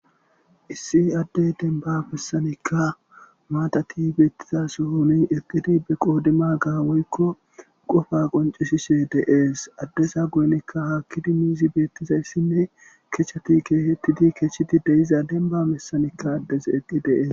Issi adde denba bessanikka maatati beettiza sohoni eqqidi be qoodima gaawoykko qofa qoncishishe deees addesa goynikka haakkidi miizi beettizayssinne kechchati keehettidi keechidi deiza denba messanikka addes eqqi deees.